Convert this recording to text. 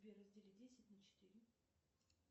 сбер раздели десять на четыре